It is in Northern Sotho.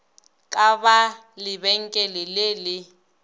ka ba lebenkele le le